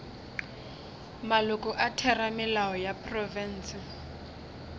maloko a theramelao ya profense